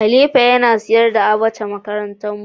khalifa Yana sayar da abacha makaranta mu.